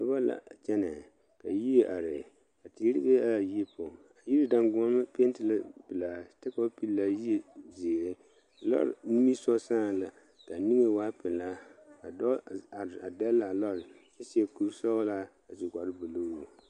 Noba la kyɛne ka yie are ka teere be la a yie poɔ a yie dangɔɔmɔ penti la pelaa kyɛ ka ba pegle a yie ziiri lɔre nimisɔgo saɛ la kaa niŋe waa pelaa ka dɔɔ are a dele a lɔre kyɛ seɛ kuri sɔglaa a su kpare buluu.